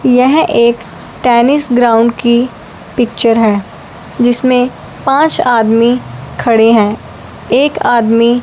यह एक tennis ground की पिक्चर है जिसमें पांच आदमी खड़े हैं एक आदमी--